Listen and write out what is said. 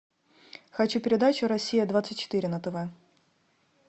хочу передачу россия двадцать четыре на тв